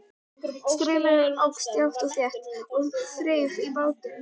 Straumurinn óx jafnt og þétt og þreif í bátinn.